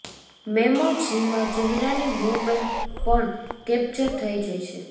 મેમોજીમાં ચહેરાની મૂવમેન્ટ પણ કેપચર થઈ જાય છે